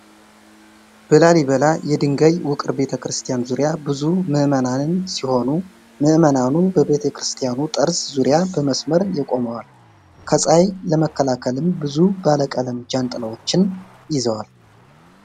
በላሊበላ የድንጋይ ውቅር ቤተክርስቲያን ዙሪያ ብዙ ምዕመናንን ሲሆኑ ምዕመናኑ በቤተክርስቲያኑ ጠርዝ ዙሪያ በመስመር የቆመዋል፡፡ ከፀሐይ ለመከላከልም ብዙ ባለ ቀለም ጃንጥላዎችን ይዘዋል።